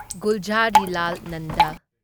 Gulzarilal Nanda